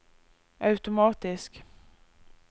automatisk